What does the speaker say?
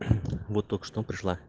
вот только что пришла